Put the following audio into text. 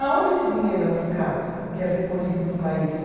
Aonde esse dinheiro é aplicado, que é recolhido no país?